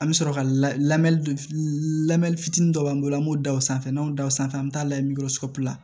An bɛ sɔrɔ ka lamɛn lamɛn fitinin dɔ b'an bolo an b'o da o sanfɛ n'anw da o sanfɛ an bɛ taa layɛ la